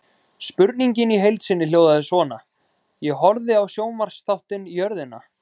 Spurningin í heild sinni hljóðaði svona: Ég horfði á sjónvarpsþáttinn Jörðina.